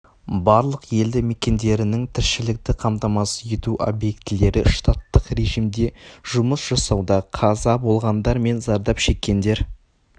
барлық елді мекендерінің тіршілікті қамтамасыз ету объектілері штаттық режимде жұмыс жасауда қаза болғандар мен зардап шеккендер